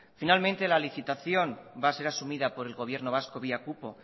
finalmente la licitación va a ser asumida por el gobierno vasco vía cupo